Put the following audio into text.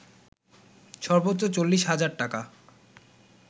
সর্বোচ্চ ৪০ হাজার টাকা